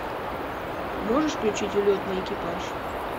можешь включить улетный экипаж